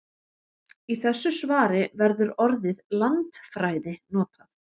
Í þessu svari verður orðið landfræði notað.